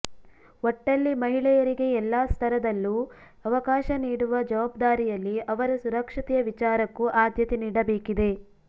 ಒಟ್ಟಲ್ಲಿ ಮಹಿಳೆಯರಿಗೆ ಎಲ್ಲಾ ಸ್ತರದಲ್ಲೂ ಅವಕಾಶ ನೀಡುವ ಜವಾಬ್ದಾರಿಯಲ್ಲಿ ಅವರ ಸುರಕ್ಷತೆಯ ವಿಚಾರಕ್ಕೂ ಆದ್ಯತೆ ನೀಡಬೇಕಿದೆ